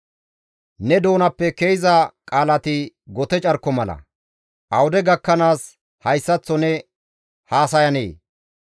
«Ne doonappe ke7iza qaalati gote carko mala; awude gakkanaas hayssaththo ne haasayanee?